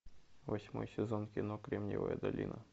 восьмой сезон кино кремниевая долина